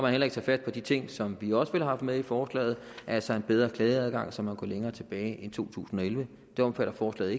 heller ikke fat på de ting som vi også ville have haft med i forslaget altså en bedre klageadgang så man kan gå længere tilbage end to tusind og elleve det omfatter forslaget